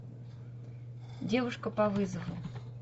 девушка по вызову